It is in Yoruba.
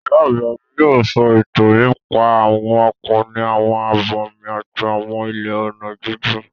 Ìyá àgbà mi yóò sọ ìtàn nípa àwọn akọni, àwọn abàmì àti àwọn ilẹ̀ ọ̀nà jíjìn.